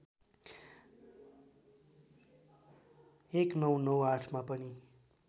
१९९८ मा पनि